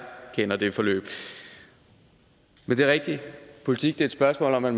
kender det forløb men det er rigtigt politik er et spørgsmål om at